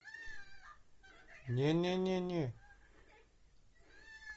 не не не не